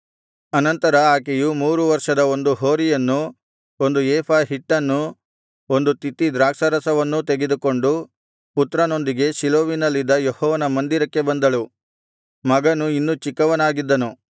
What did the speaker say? ಅನಂತರ ಆಕೆಯು ಮೂರು ವರ್ಷದ ಒಂದು ಹೋರಿಯನ್ನೂ ಒಂದು ಏಫಾ ಹಿಟ್ಟನ್ನೂ ಒಂದು ತಿತ್ತಿ ದ್ರಾಕ್ಷಾರಸವನ್ನೂ ತೆಗೆದುಕೊಂಡು ಪುತ್ರನೊಂದಿಗೆ ಶೀಲೋವಿನಲ್ಲಿದ್ದ ಯೆಹೋವನ ಮಂದಿರಕ್ಕೆ ಬಂದಳು ಮಗನು ಇನ್ನೂ ಚಿಕ್ಕವನಾಗಿದ್ದನು